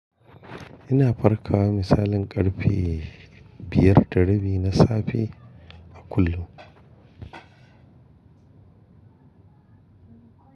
Ina farkawa misalin ƙarfe biyar ta rabi na safe a kullum.